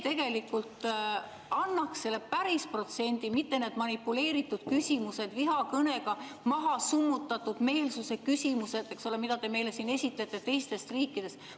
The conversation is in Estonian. See annaks selle päris protsendi, mitte need manipuleeritud küsimused, vihakõne summutatud meelsuse küsimused, mida te meile siin esitate teiste riikide kohta.